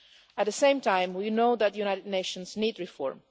At the same time, we know that the United Nations needs reform.